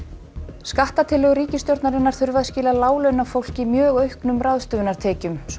skattatillögur ríkisstjórnarinnar þurfa að skila láglaunafólki mjög auknum ráðstöfunartekjum svo